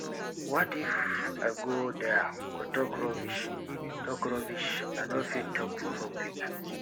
what if i go there go talk rubbish talk rubbish i no fit talk for public